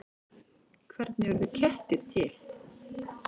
Hvernig urðu kettir til?